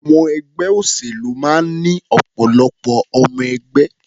Àwọn ẹgbẹ́ òṣèlú máa ń ní ọ̀pọ̀lọpọ̀ ọmọ-ẹgbẹ́.